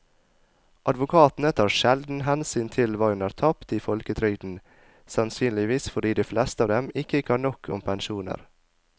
Advokatene tar sjelden hensyn til hva hun har tapt i folketrygden, sannsynligvis fordi de fleste av dem ikke kan nok om pensjoner.